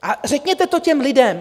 A řekněte to těm lidem.